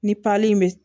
Ni in bɛ